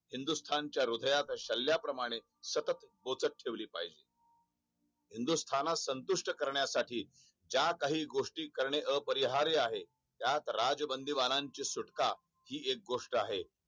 हिंन्दुस्थानाच्या हृदयात सल्ल्याप्रमाणे सतत बोचत ठेवले पाहिजे हिंन्दुस्थानास संतुष्ट करण्यासाठी ज्या काही गोष्टी करणे अपरिहार्य आहे त्यात राजबंदीबानाची सुटका हि एक गोष्ट आहे